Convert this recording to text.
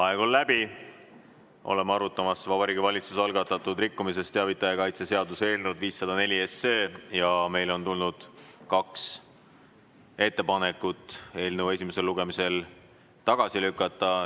Vaheaeg on läbi, oleme arutamas Vabariigi Valitsuse algatatud rikkumisest teavitaja kaitse seaduse eelnõu 504 ja meile on tulnud kaks ettepanekut eelnõu esimesel lugemisel tagasi lükata.